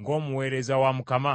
ng’omuweereza wa Mukama ?